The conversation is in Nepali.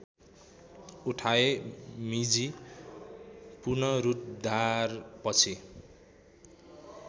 उठाए मीजी पुनरुद्धारपछि